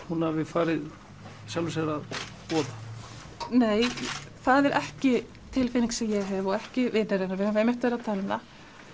hún hafi farið sjálfri sér að voða nei það er ekki tilfinning sem ég hef og ekki vinir hennar heldur við höfum einmitt verið að tala um það